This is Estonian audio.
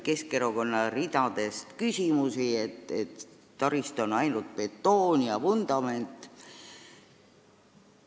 Keskerakonna ridadest kõlas küsimusi, et taristu on justkui ainult betoon ja vundament.